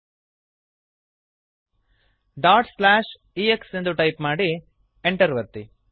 ex dot slash x ಎಂದು type ಮಾಡಿರಿ Enter ಅನ್ನು ಒತ್ತಿರಿ